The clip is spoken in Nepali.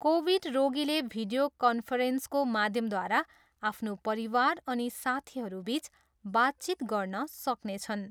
कोभिड रोगीले भिडियो कान्फ्रेन्सको माध्यमद्वारा आफ्नो परिवार अनि साथीहरूसित बातचित गर्न सक्नेछन्।